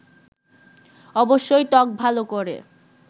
অবশ্যই ত্বক ভালো করে